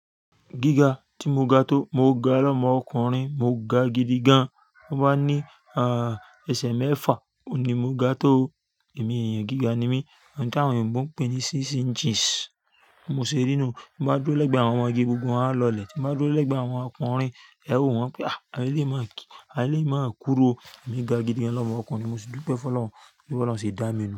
Gíga tí mo ga tó, mo ga lọ́mọ ọkùnrin mo ga gidi gan. Wọn bá ní ah ẹsẹ̀ mẹ́fà oun ní mo ga tó. Èmi èèyàn gíga ni mí. Oun ti awon òyìnbó ń pè ní six inches. Mo ṣe rí inú. M bá dúró lẹ́gbẹ̀ẹ́ àwọn ọmọge gbogbo wọn á lọlẹ̀. Tí mo bá dúró lẹ́gbẹ̀ẹ́ àwọn ọkùnrin, ẹ wó wọn pé a lè máa kí a lè máa kúru o. Èmi ga gidi gan lọ́mọ ọkùnrin. Mo sì dú pé Fọlọ́run, pe bọlọ́run ṣe dá mi nu.